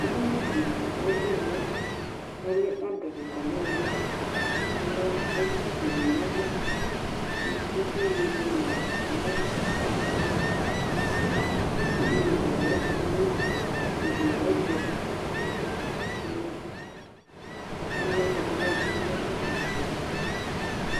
édini dï ɔle ɛfũ vlɛ alɛ ada kika niili alɛɔvle fue di nayava sudé di ɛla nayava